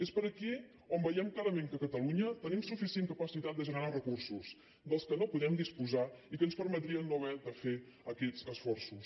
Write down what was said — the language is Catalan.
és per aquí on veiem clarament que a catalunya tenim suficient capacitat de generar recursos dels quals no podem disposar i que ens permetrien no haver de fer aquests esforços